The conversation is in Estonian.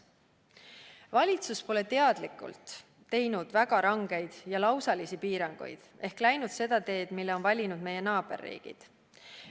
Valitsus pole teadlikult teinud väga rangeid ja lausalisi piiranguid ehk läinud seda teed, mille on valinud meie naaberriigid.